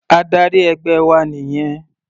Adarí ẹgbẹ́ wa nìyẹn.